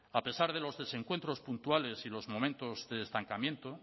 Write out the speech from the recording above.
a pesar de los desencuentros puntuales y los momentos de estancamiento